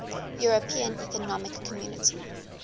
european economic community